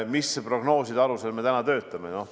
Milliste prognooside alusel me täna töötame?